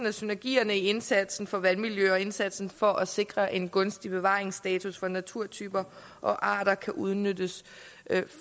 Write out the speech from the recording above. at synergier i indsatsen for vandmiljø og indsatsen for at sikre en gunstig bevaringsstatus for naturtyper og arter kan udnyttes